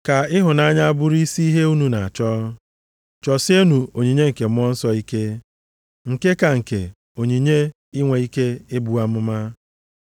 Ka ịhụnanya bụrụ isi ihe unu na-achọ. Chọsienụ onyinye nke Mmụọ Nsọ ike, nke ka nke onyinye inwe ike ibu amụma.